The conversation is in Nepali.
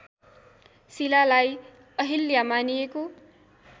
शिलालाई अहिल्या मानिएको